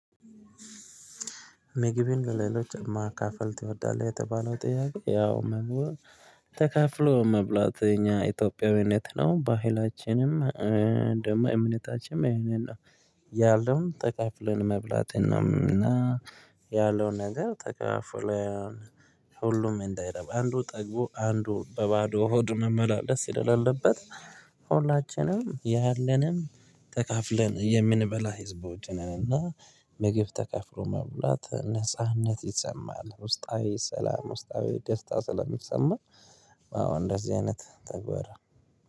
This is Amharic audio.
ምግቢን በሌሎች ማካፈል ትወዳለህ የተባለው ጥያቄ ያው ምግብን ተካፍሎ መብላት የኛ ኢትዮጵያዊነት ነው ባህላችንም እንዲሁም እምነታችንም ይሄ ነው። ተካፍለን መብላትን ነው። እና ያለውን ነገር ተካፍለን ሁሉም እንዳይረበው አንዱ ጠግቦ አንዱ በባዶ ሆድ መመላለስ ስለሌለበት ሁላችንም ያለንም ተካፍለን የምንበላ ህዝቦች ነን። እና ምግብ ተካፍሎ መብላት ነጻነት ይሰማል ውስጣዊ ሰላም ውስጣዊ ደስታ ስለሚሰማ። አዎ እንደዚህ አይነት ተግባር